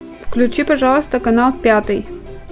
включи пожалуйста канал пятый